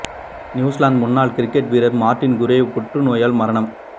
New Zealand முன்னாள் cricket வீரர் Martin Crowe புற்று நோயால் மரணம்